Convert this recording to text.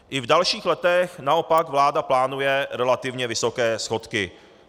I v dalších letech naopak vláda plánuje relativně vysoké schodky.